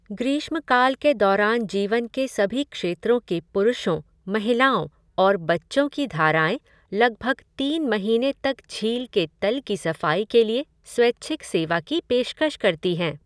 ग्रीष्मकाल के दौरान जीवन के सभी क्षेत्रों के पुरुषों, महिलाओं और बच्चों की धाराएँ लगभग तीन महीने तक झील के तल की सफाई के लिए स्वैच्छिक सेवा की पेशकश करती हैं।